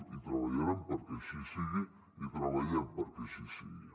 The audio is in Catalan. i treballarem perquè així sigui i treballem perquè així sigui